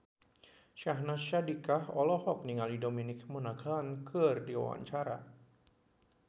Syahnaz Sadiqah olohok ningali Dominic Monaghan keur diwawancara